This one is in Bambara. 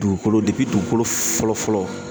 Dugukolo dugukolo fɔlɔ fɔlɔ